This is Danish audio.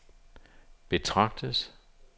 betragtes